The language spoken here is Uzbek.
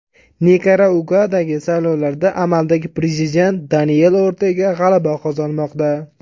Nikaraguadagi saylovlarda amaldagi prezident Daniel Ortega g‘alaba qozonmoqda.